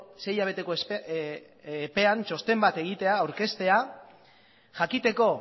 sei hilabeteko epean txosten bat egitea aurkeztea jakiteko